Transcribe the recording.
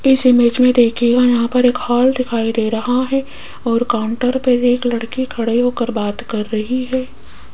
इस इमेज में देखिएगा यहां पर एक हॉल दिखाई दे रहा है और काउंटर पर एक लड़की खड़ी हो कर बात कर रही है।